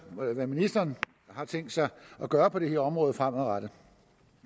hvad ministeren har tænkt sig at gøre på det her område fremadrettet